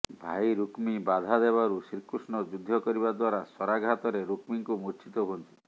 ଭାଇ ରୁକ୍ମୀ ବାଧା ଦେବାରୁ ଶ୍ରୀକୃଷ୍ଣ ଯୁଦ୍ଧ କରିବାଦ୍ୱାରା ଶରାଘାତରେ ରୁକ୍ମୀଙ୍କୁ ମୁର୍ଚ୍ଛିତ ହୁଅନ୍ତି